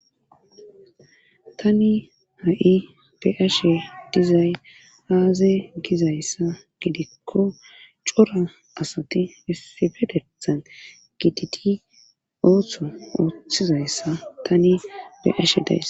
tani ha7i beashe dizay aaza gizayssa gidikko cora asati isifedethan gititi ooththo ooththizayssa tani beashe days